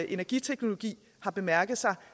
energiteknologi har bemærket